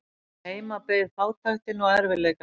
Heima beið fátæktin og erfiðleikarnir.